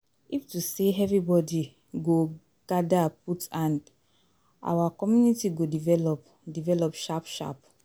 If to say everybody go gadir put hand, our community go develop develop sharp sharp